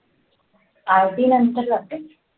arty नंतर जाते लागते